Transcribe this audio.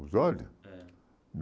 Os olhos? É